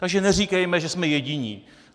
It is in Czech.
Takže neříkejme, že jsme jediní.